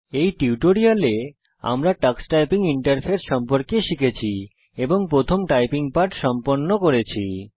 এই টিউটোরিয়ালে আমরা টক্স টাইপিং ইন্টারফেস সম্পর্কে শিখেছি এবং প্রথম টাইপিং পাঠ সম্পন্ন করেছি